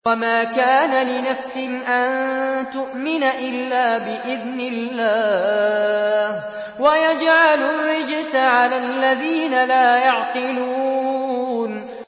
وَمَا كَانَ لِنَفْسٍ أَن تُؤْمِنَ إِلَّا بِإِذْنِ اللَّهِ ۚ وَيَجْعَلُ الرِّجْسَ عَلَى الَّذِينَ لَا يَعْقِلُونَ